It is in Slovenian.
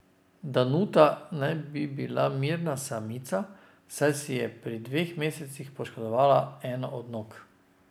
Danuta naj bi bila mirna samica, saj si je pri dveh mesecih poškodovala eno od nog.